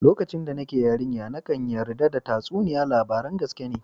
Lokacin da nake yarinya, nakan yarda da tatsuniya labaran gaskiya ne.